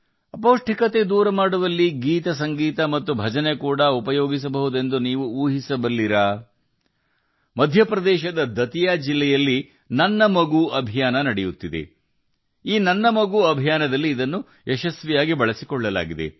ಅಪೌಷ್ಟಿಕತೆಯನ್ನು ಹೋಗಲಾಡಿಸಲು ಹಾಡು ಮತ್ತು ಸಂಗೀತ ಮತ್ತು ಭಜನೆಗಳನ್ನು ಕೂಡಾ ಬಳಸಬಹುದೇ ಎಂಬುದನ್ನು ನೀವು ಊಹಿಸಬಲ್ಲಿರಾ ಇದನ್ನು ಮೇರಾ ಬಚ್ಚಾ ಅಭಿಯಾನದಲ್ಲಿ ಯಶಸ್ವಿಯಾಗಿ ಬಳಸಲಾಯಿತು ಮಧ್ಯಪ್ರದೇಶದ ದಾತಿಯಾ ಜಿಲ್ಲೆಯಲ್ಲಿ ಮೇರಾ ಬಚ್ಚಾ ಅಭಿಯಾನ